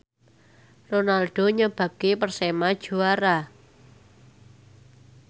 Ronaldo nyebabke Persema juara